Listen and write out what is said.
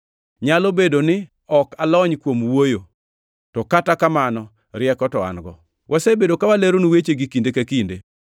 Nyalo bedo ni ok alony kuom wuoyo, to kata kamano rieko to an-go. Wasebedo ka waleronu wechegi kinde ka kinde.